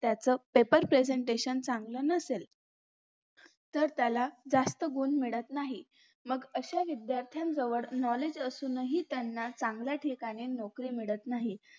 त्याच paper presentation चांगलं नसेल तर त्याला जास्त गुण मिळत नाही मग अश्या विध्यार्थांजवळ knowledge असूनही त्याना चांगल्या ठिकाणी नोकरी भेटत नाही